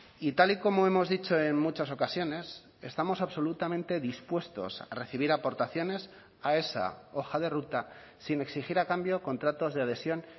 y tal y como hemos dicho en muchas ocasiones estamos absolutamente dispuestos a recibir aportaciones a esa hoja de ruta sin exigir a cambio contratos de adhesión